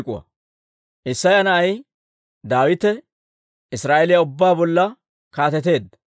Isseya na'ay Daawite Israa'eeliyaa ubbaa bolla kaateteedda.